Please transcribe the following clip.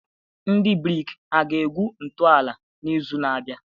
Ndị brik hà ga-egwu ntọala n'izu na-abịa?